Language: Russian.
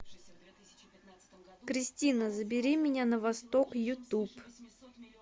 кристина забери меня на восток ютуб